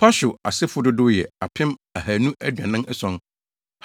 Pashur asefo dodow yɛ 2 1,247 1